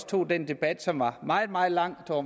tog den debat som var meget meget lang og